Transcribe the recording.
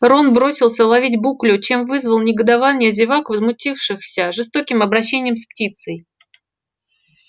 рон бросился ловить буклю чем вызвал негодование зевак возмутившихся жестоким обращением с птицей